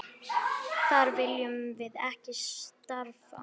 Þar viljum við ekki starfa.